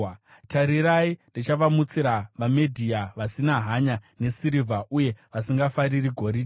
Tarirai, ndichavamutsira vaMedhia vasina hanya nesirivha, uye vasingafariri goridhe.